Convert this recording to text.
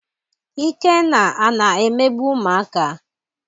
Ikenna ana emegbu ụmụaka?